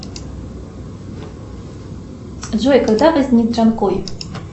джой когда возник джанкой